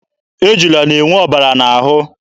Ejula na-enye ọbara n'ahụ.